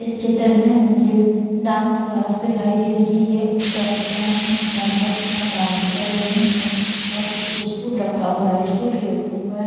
इस चित्र में मुझे डांस क्लास दिखाई दे रही है उस डांस क्लास में चार लड़कियां डांस कर रही हैं और पीछे स्टूल रखा हुआ है स्टूल के ऊपर--